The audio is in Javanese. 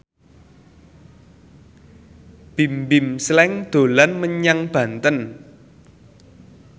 Bimbim Slank dolan menyang Banten